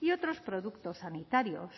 y otros productos sanitarios